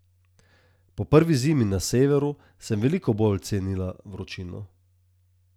Po prvi zimi na Severu sem veliko bolj cenila vročino.